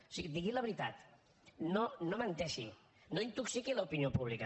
o sigui digui la veritat no menteixi no intoxiqui l’opinió pública